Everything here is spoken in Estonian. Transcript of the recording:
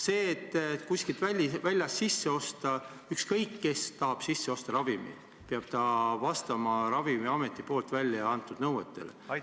Kui keegi tahab ravimeid kuskilt väljast sisse osta, siis peab ta vastama Ravimiameti kehtestud nõuetele.